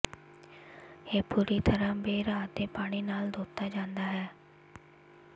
ਇਹ ਪੂਰੀ ਤਰ੍ਹਾਂ ਬੇਹਰਾ ਅਤੇ ਪਾਣੀ ਨਾਲ ਧੋਤਾ ਜਾਂਦਾ ਹੈ